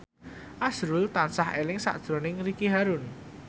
azrul tansah eling sakjroning Ricky Harun